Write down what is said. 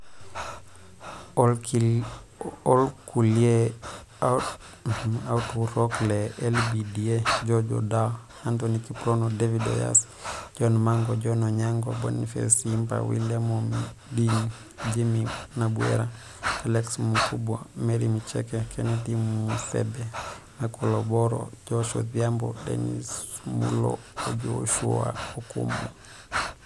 Olkulia autarok le LBDA George Odawa, Anthony Kiprono, David Oyosi, John Mango, John Onyango, Boniface Simba, William Omoding, Jimmy Nabwera, Alex Mukabwa, Mary Micheka, Kennedy Musebe, Michael Obora, Joash Odhiambo, Dennis Mulaa O Josiah Okumu.